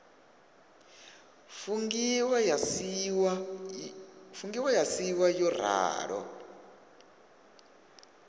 fungiwa ya siiwa yo ralo